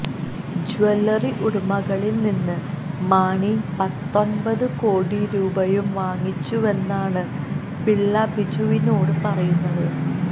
jewellery ഉടമകളില് നിന്ന് മാണി പത്തൊന്പത് കോടി രൂപയും വാങ്ങിച്ചുവെന്നാണ് പിള്ള ബിജുവിനോട് പറയുന്നത്